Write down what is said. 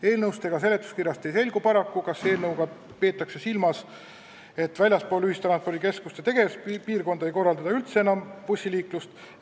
Eelnõust ega seletuskirjast ei selgu paraku, kas eelnõuga peetakse silmas, et väljaspool ühistranspordikeskuste tegevuspiirkonda bussiliiklust enam üldse ei korraldata.